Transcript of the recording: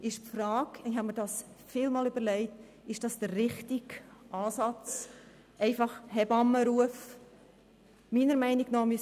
Es stellt sich die Frage, ob der Ansatz eines Hebammenrufs richtig ist.